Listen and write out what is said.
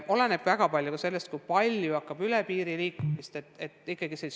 Väga palju oleneb ka sellest, kui palju hakkab olema üle piiri liikumist.